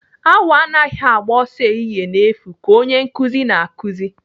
Awọ anaghị agba ọsọ ehihie n'efu ka Onye nkụzi na-akụzi.